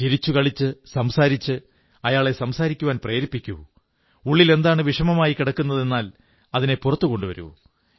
ചിരിച്ചുകളിച്ച് സംസാരിച്ച് അയാളെ സംസാരിക്കാൻ പ്രേരിപ്പിക്കൂ ഉള്ളിൽ എന്താണ് വിഷമമായി കിടക്കുന്നതെന്നാൽ അതിനെ പുറത്തു കൊണ്ടുവരൂ